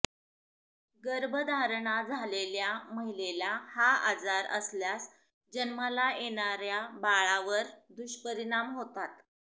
गर्भधारणा झालेल्या महिलेला हा आजार असल्यास जन्माला येणाऱ्या बाळावर दुष्परिणाम होतात